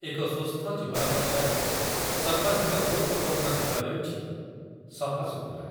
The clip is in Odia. ଏକ ସୁସ୍ଥ ଜୀବନ ପଛରେ ସର୍ବାଧିକ ଗୁରୁତ୍ୱପୂର୍ଣ୍ଣ ଦିଗ ହେଉଛି ସଫାସୁତୁରା